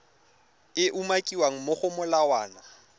e umakiwang mo go molawana